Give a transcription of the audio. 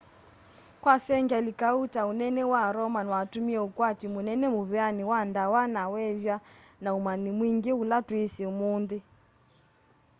kwa sengyali kauta unene wa roman watumie ukwati munene muveani wa ndawa na weethwa na umanyi mwingi ula twisi umunthi